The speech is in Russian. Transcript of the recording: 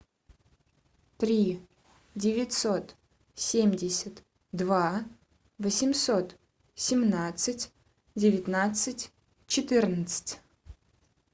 три девятьсот семьдесят два восемьсот семнадцать девятнадцать четырнадцать